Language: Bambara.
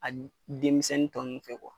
A denmisɛnnin tɔ ninnu fɛ